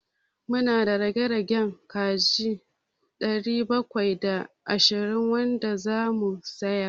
Mu na da ragowar kaji ɗari bakwai da ashirin wanda za mu sayar.